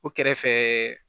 O kɛrɛfɛ